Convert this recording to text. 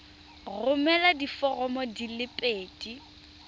romela diforomo di le pedi